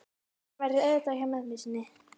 Hann verður auðvitað hjá mömmu sinni.